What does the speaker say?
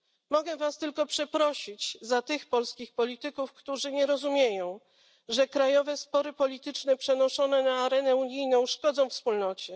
Mogę Was tylko przeprosić za tych polskich polityków, którzy nie rozumieją, że krajowe spory polityczne przenoszone na arenę unijną szkodzą Wspólnocie.